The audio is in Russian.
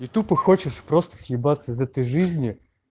и тупо и хочешь просто съебаться из этой жизни